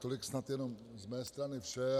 Tolik snad jenom z mé strany vše.